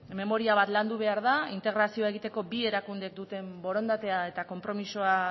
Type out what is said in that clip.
memoria bat landu behar da integrazioa egiteko bi erakundek duten borondatea eta konpromisoa